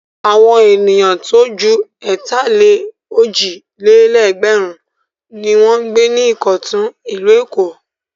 Àwọn ènìyàn tó ju ẹ̀tàlé-òjì-lé-ẹgbẹ̀run ni wọ́n ń gbé ní Ìkọ̀tún, ìlú Èkó.